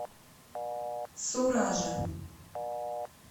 суража